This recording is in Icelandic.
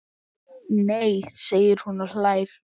Nei segir hún og hlær.